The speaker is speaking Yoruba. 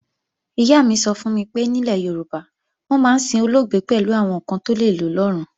Ìyá mi sọ fún mi pé nílẹ̀ Yorùbá, wọ́n máa ń sin olóògbé pẹ̀lú àwọn ǹkan tó lè lò lọ́run